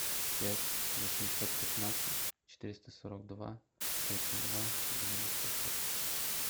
пять восемьсот пятнадцать четыреста сорок два тридцать два девяносто шесть